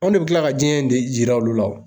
Anw de bi kila ka jiɲɛ in de jira olu la wo.